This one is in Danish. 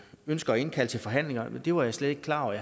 ønsker at indkalde til forhandlinger vil det var jeg slet ikke klar over at